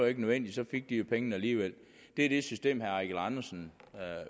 ikke nødvendigt så fik de jo pengene alligevel det er det system herre eigil andersen